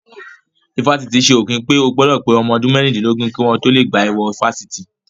Ifásitì ṣe òfin pé o gbọ́dọ̀ pé ọmọ ọdún mẹ́rìndínlógún kí wọ́n tó lè gbà ẹ wọ ifásitì